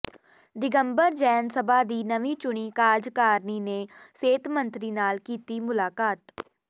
ਦਿਗੰਬਰ ਜੈਨ ਸਭਾ ਦੀ ਨਵੀਂ ਚੁਣੀ ਕਾਰਜਕਾਰਨੀ ਨੇ ਸਿਹਤ ਮੰਤਰੀ ਨਾਲ ਕੀਤੀ ਮੁਲਾਕਾਤ